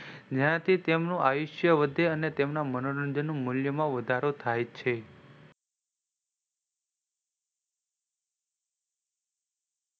જ્યાંથી તેમનું આયુષ્ય વધે અને તેમના મનોરંજન નું મૂલ્યમાં વધારો થાયછે.